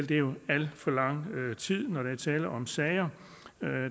det er alt for lang tid når der er tale om sager